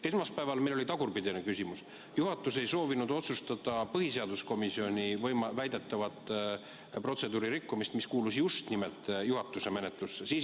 Esmaspäeval oli meil vastupidine küsimus: juhatus ei soovinud otsustada põhiseaduskomisjoni väidetavat protseduuri rikkumist, kuigi see kuulus just nimelt juhatuse pädevusse.